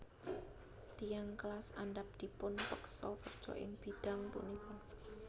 Tiyang kelas andhap dipupeksa kerja ing bidang punika